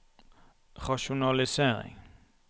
rasjonalisering